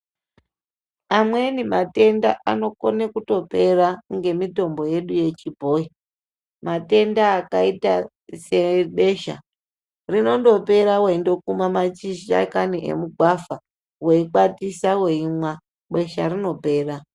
Amweni matenda anokone kutopera ,ngemitombo yedu yechibhoyi, matenda akaita sebesha. Rinondopera weindokuma mashi mashakani emugwavha, weikwatisa weimwa, besha rinopera.